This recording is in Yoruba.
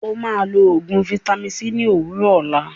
Ó máa lọ oògùn vaitami c ní òwúrọ̀ òlá.